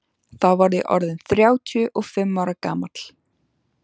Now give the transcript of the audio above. Þá var ég orð inn þrjátíu og fimm ára gamall.